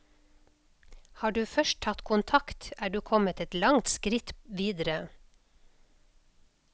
Har du først tatt kontakt, er du kommet et langt skritt videre.